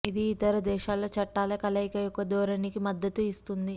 ఇది ఇతర దేశాల చట్టాల కలయిక యొక్క ధోరణికి మద్దతు ఇస్తుంది